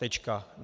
Tečka.